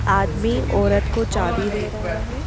आदमी औरत को चाबी दे रहा है।